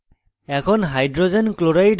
এখন